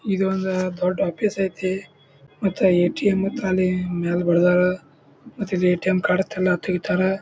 ಇದೊಂದ ದೊಡ್ ಆಫೀಸ್ ಐತಿ ಮತ್ತ ಏಟಿಎಂ ಮತ್ತ್ ಅಲ್ಲೆ ಮ್ಯಾಲೆ ಬಡದಾರ ಮತ್ತ ಇಲ್ಲೇ ಏಟಿಎಂ ಕಾರ್ಡ್ಸ್ ಎಲ್ಲಾ ತೆಗಿತಾರ.